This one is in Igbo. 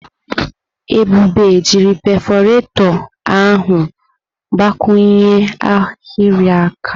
Ebube ji perfurato ahụ gbakwụnye ahịrị akwa.